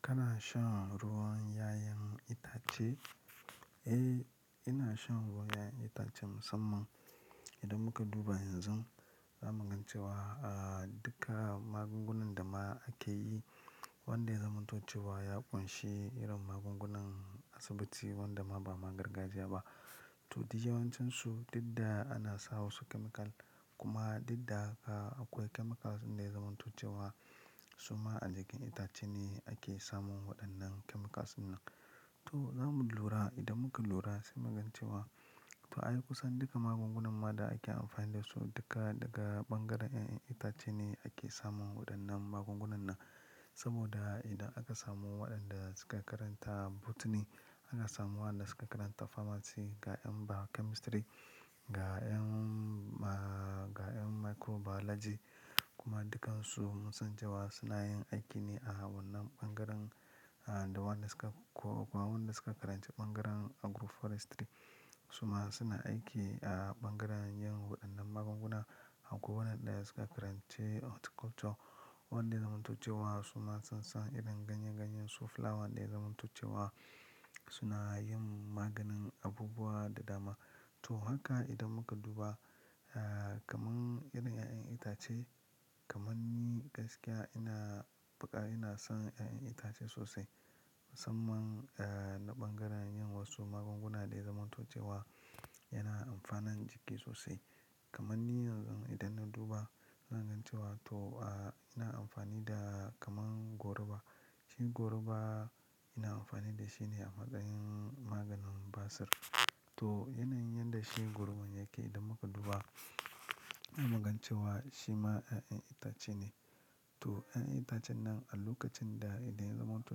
Kana shan ruwan 'ya'yan itace? Eh, ina shan ruwan 'ya'yan itace musamman idan muka duba yanzu, zamu ga cewa, ah, duka magungunan da ma ake yi wanda ya zamanto cewa ya ƙunshi irin magungunan asibitti wanda ma ba ma gargajiya ba. To, duk yawancinsu didda ana sa wasu chemical kuma didda akwai a chemicals ɗinda ya zamanto cewa. Suma a jikin itace ne ake samun waɗannan chemicals ɗin nan. To, zamu lura idan muka lura sai mu ga cewa to ai kusan duka magungunan ma da ake amfani da su duka daga ɓangaren 'ya'yan itace ne ake samun waɗannan magungunan nan. Saboda idan aka samu waɗanda suka karanta botany, ana samu waɗanda suka karanta pharmacy, ga 'yan biochemistry, ga 'yan, ba, ga 'yan microbiology kuma dukansu munsan cewa suna yin aiki ne a wannan ɓangaren, ah, da waɗanda suka, ko, ko waɗanda suka karanci ɓangaren agroforestry. Suma suna aiki a ɓangaren yin waɗannan magunguna a ko wannan ɗaya suka karanci culture wanda ya zamanto cewa suma sun san irin ganye-ganyen su flower da ya zamanto cewa suna yin maganin abubuwa da dama to, haka idan muka duba, ah, kaman irin 'ya'yan itace kaman ni gaskiya ina, faƙa ina son 'ya'yan itace sosai musamman, ah, na ɓangaren yin wasu magunguna da ya zamanto cewa yana amfanan jiki sosai. Kaman ni yanzu idan na duba zan ga cewa to, ah, ina amfani da kaman goruba. Shi goruba ina amfani da shi ne a matsayin maganin basir. To yanayin yanda shi goruban yake idan muka duba, za muga cewa shima ƴaƴan itace ne to, 'ya'yan itacen nan a lokacin da idan ya zamanto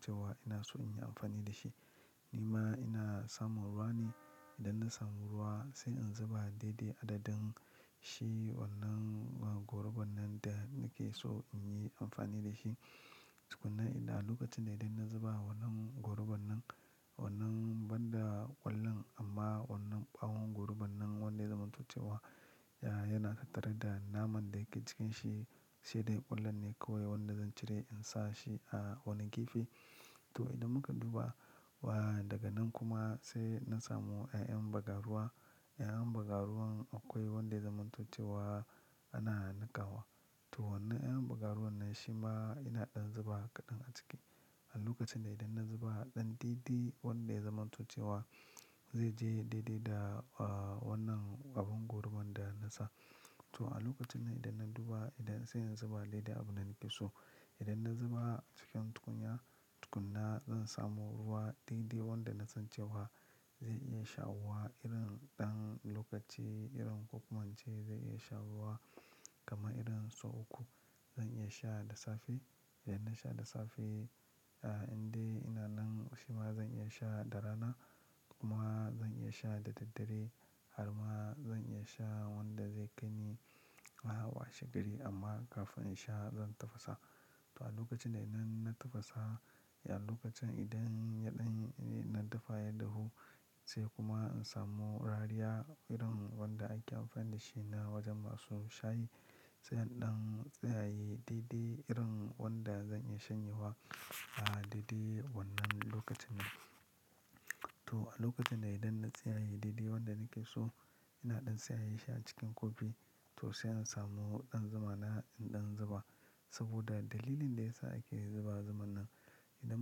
cewa ina so in yi amfani da shi, ni ma ina samun ruwa ne. Idan na samu ruwa sai in zuba daidai adadin shi wannan gorubar nan da nake so in yi amfani da shi. Tukunna inda a lokacin dai in na zuba wannan gorubar nan, wannan banda ƙwallon amma wannan ɓawon gorubar nan wanda ya zamanto cewa, ya, yana tattare da naman da ke cikin shi, sai dai ƙwallon ne kawai wanda zan cire in sa shi a wani gefe. To, idan muka duba, wa, daga nan kuma sai na samu 'ya'yan bagaruwa. 'Ya'yan bagaruwan akwai wanda ya zamanto cewa ana niƙawa. To, wannan 'ya'yan bagaruwan nan shi ma ina ɗan zuba kaɗan a ciki. A lokacin da idan na zuba ɗan daidai wanda ya zamanto cewa zai je yayi daidai da, ah, wannan ɓawon gorubar da na sa. To, a lokacin nan idan na duba idan sai in zuba daidai abun da nake so. Idan na zuba cikin tukunya, tukunna zan samo ruwa daidai wanda na san cewa zai iya shawuwa irin ɗan lokaci irin ko kuma ince zai iya shawuwa kaman irin sau uku. Zan iya sha da safe. Idan na sha da safe, in dai ina nan shima zan iya sha da rana, kuma zan iya sha daraddare. Har ma zan iya sha wanda zai kai ni a washe gari amma kafin in sha zan tafasa. To, a lokacin da idan na tafasa, a lokacin idan yaɗan, na dafa ya dahu sai kuma in samu rariya irin wanda ake amfani da shi na wajen masu shayi. Sai in ɗan tsiyaye daidai irin wanda zan iya shanyewa, ah, daidai wannan lokacin nan. To, a lokacin da idan na tsiyaye daidai wanda nake so ina ɗan tsiyaye shi a cikin kofi to sai in samu ɗan zuma na in ɗan zuba. Saboda dalilin da ya sa ake zuba zuman nan idan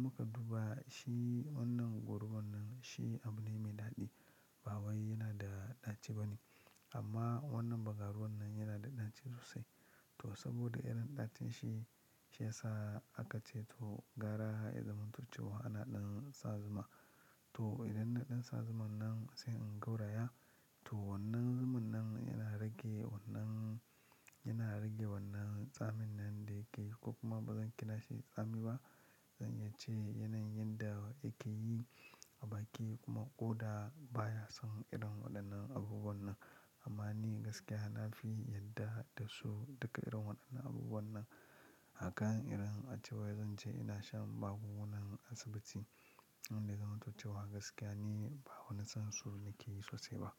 muka duba shi wannan gorubar nan shi abu ne mai daɗi. Ba wai yana da ɗaci ba ne amma wannan bagaruwan nan yana da ɗaci sosai. To, saboda irin ɗacin shi, shi ya sa aka ce to gara ya zamantace wa ana ɗin sa zuma. To, idan na ɗin sa zumar nan sai in gauraya. To, wannan zumar nan yana rage wannan, yana rage wannan tsamin nan da yake ko kuma ba zan kira shi da tsami ba. Zan iya ce yanayin yanda yake yi a baki kuma ƙoda baya son irin waɗannan abubuwan nan. Amma ni gaskiya na fi yarda da su duka irin waɗannan abubuwan nan. Akan irin ace wai zan je ina shan magungunan asibitti wanda ya zamanto cewa gaskiya ni ba wani son su nake yi sosai ba.